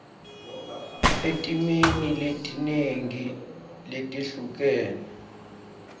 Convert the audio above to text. etimeni letinengi letehlukene